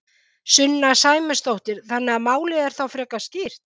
Sunna Sæmundsdóttir: Þannig að málið er þá frekar skýrt?